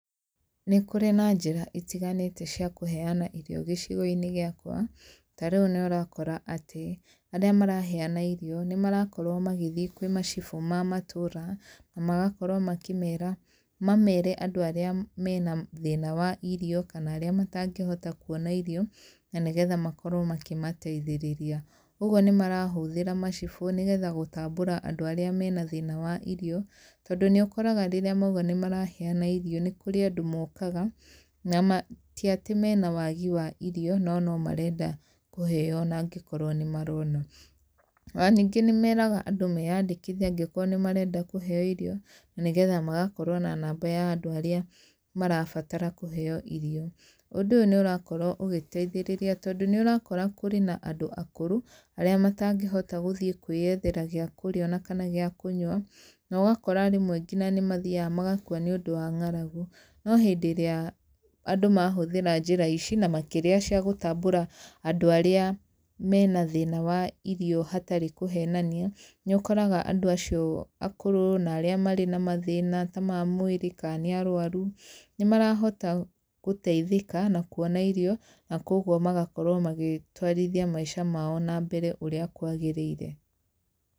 Nĩ kũrĩ na njĩra itiganĩte cia kũheyana irio gĩcigo-inĩ gĩakwa, tarĩu nĩ ũrakora atĩ arĩa maraheyana irio, nĩ marakorwo magĩthiĩ kwĩ macibũ ma matũra, na magakorwo makĩmera mamere andũ arĩa mena thĩna wa irio, kana arĩa matangĩhota kuona irio, na nĩgetha makorwo makĩmateithĩrĩria, ũguo nĩ marahũthĩra macibũ, nĩgetha gũtambũra andũ arĩa mena thĩna wa irio, tondũ nĩ ũkoraga rĩrĩa maiga nĩ marahenyana irio, nĩ kũrĩ andũ mokaga nama tiatĩ mena wagi wa irio no nomarenda kũheyo onagĩkorwo nĩ marona, onaningĩ nĩ meraga andũ meyandĩkithie angĩkorwo nĩ marenda kũheyo irio, na nĩgetha magakorwo na namba ya andũ arĩa marabatara kũheyo irio, ũndũ ũyũ nĩ ũrakorwo ũgĩteithĩrĩria tondũ nĩ ũrakora kwĩrĩ nandũ akũrũ, arĩa matangĩhopta gũthiĩ kwĩyethera gĩa kũrĩa, onakana gĩa kũnyua, nogakora rĩmwe ngina nĩ mathiaga magakwa nĩ ũndũ wa ngaragu, no hĩndĩ ĩrĩa andũ mahũthĩra njĩra ici na makĩria cia gũtambũra andũ arĩa mena thĩna wa irio hatarĩ kũhenania, nĩ ũkoraga andũ acio akũrũ na arĩa marĩ na mathĩna ta ma mwĩrĩ, ka nĩ arwaru, nĩ marahota gũteithĩka na kuona irio na kwoguo magakorwo magĩtwarithia maica mao nambere ũrĩa kwagĩrĩire.